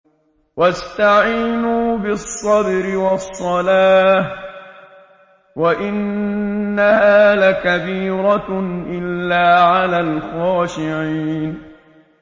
وَاسْتَعِينُوا بِالصَّبْرِ وَالصَّلَاةِ ۚ وَإِنَّهَا لَكَبِيرَةٌ إِلَّا عَلَى الْخَاشِعِينَ